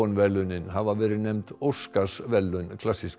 verðlaunin hafa verið nefnd Óskarsverðlaun klassíska